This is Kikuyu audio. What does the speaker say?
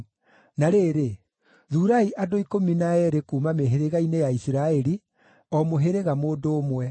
Na rĩrĩ, thuurai andũ ikũmi na eerĩ kuuma mĩhĩrĩga-inĩ ya Isiraeli, o mũhĩrĩga mũndũ ũmwe.